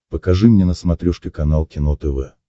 покажи мне на смотрешке канал кино тв